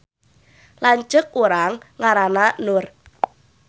Lanceuk urang ngaranna Nur